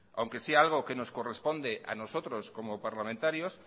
aunque sea algo que nos corresponde a nosotros como parlamentarios